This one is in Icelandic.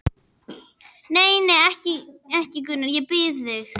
Nei, nei, ekki, ekki, Gunnar, ég bið þig.